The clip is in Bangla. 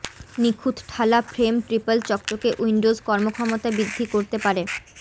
নিখুঁত ঠালা ফ্রেম ট্রিপল চকচকে উইন্ডোজ কর্মক্ষমতা বৃদ্ধি করতে পারে